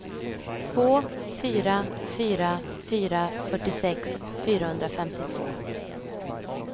två fyra fyra fyra fyrtiosex fyrahundrafemtiotvå